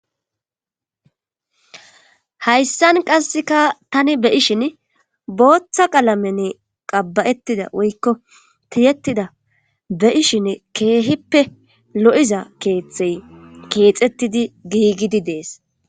Hayssan qasseka tani beyishin booththa qalamenne qabbayettida woykko tiyettida be7ishin keehippe lo7iza keeththey keexettidi giigidi dees